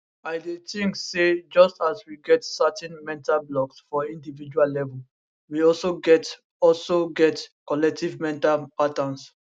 i dey think say just as we get certain mental blocks for individual level we also get also get collective mental patterns